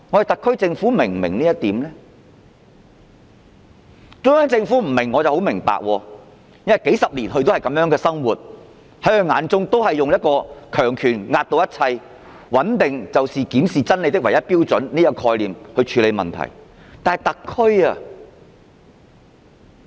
中央政府不能明白這點，我會理解，因為它數十年來也是如此，只懂用強權壓倒一切，認為穩定就是檢視真理的唯一標準，以這概念處理問題。